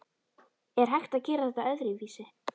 Er hægt að gera þetta öðruvísi?